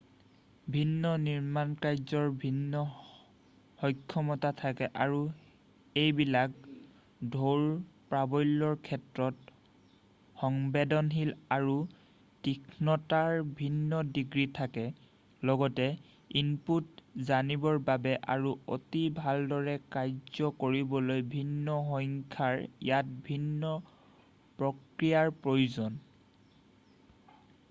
ভিন্ন নিৰ্মাণকাৰ্যৰ ভিন্ন সক্ষমতা থাকে আৰু এইবিলাক ঢৌৰ-প্ৰাবল্যৰ ক্ষেত্ৰত সংবেদনশীল আৰু তীক্ষ্ণতাৰ ভিন্ন ডিগ্ৰী থাকে লগতে ইনপুট জানিবৰ বাবে আৰু অতি ভালদৰে কাৰ্য কৰিবলৈ ভিন্ন সংখ্যাৰ ইয়াত ভিন্ন প্ৰক্ৰিয়াৰ প্ৰয়োজন